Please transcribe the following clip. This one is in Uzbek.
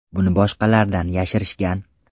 Buni boshqalardan yashirishgan.